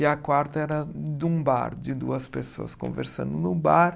E a quarta era de um bar, de duas pessoas conversando no bar.